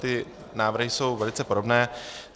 Ty návrhy jsou velice podobné.